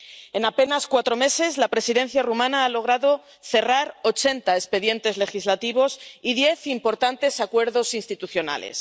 En apenas cuatro meses, la Presidencia rumana ha logrado cerrar ochenta expedientes legislativos y diez importantes acuerdos institucionales.